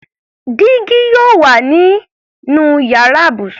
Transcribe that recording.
Dígí yóò wà nínú yàrá ibùsùn.